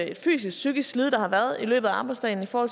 et fysisk psykisk sled der har været i løbet af arbejdsdagen for